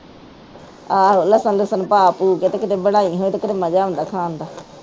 ਆਹ ਲਸਣ ਲੁਸਨ ਪਾ ਪੁ ਕੇ ਕੀਤੇ ਬਣਾਈ ਹੋਵੇ ਤੇ ਮਜਾ ਆਉਂਦਾ ਖਾਣ ਦਾ